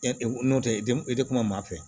N'o tɛ i tɛ i tɛ kuma maa maa fɛ